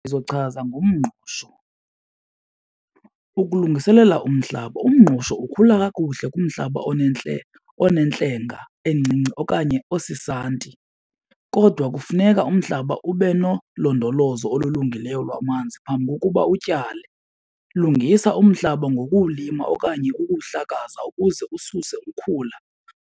Ndizochaza ngomngqusho. Ukulungiselela umhlaba, umngqusho ukhula kakuhle kumhlaba onentlenge encinci okanye osisanti kodwa kufuneka umhlaba ube nolondolozo olulungileyo lwamanzi phambi kokuba utyale. Lungisa umhlaba ngokuwulima okanye ukuwuhlakaza ukuze ususe ukhula